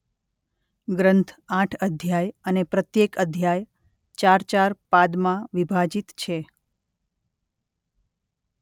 ગ્રન્થ આઠ અધ્યાય અને પ્રત્યેક અધ્યાય ચાર-ચાર પાદમાં વિભાજિત છે.